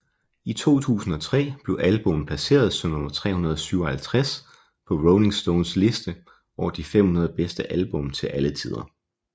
I 2003 blev albummet placeret som nummer 357 på Rolling Stones liste over de 500 bedste album til alle tider